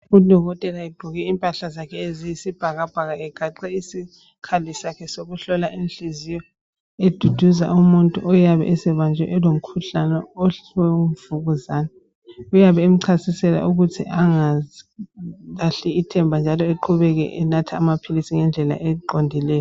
Udokotela egqoke impahla zakhe eziyisibhakabhaka egaxe isikhali sakhe sokuhlola inhliziyo, eduduza umuntu oyabe esebanjwe elomkhuhlane wemvukuzane. Uyabe emchasisela ukuthi engalahli ithemba njalo eqhubeke enatha amaphilisi ngendlela eqondileyo.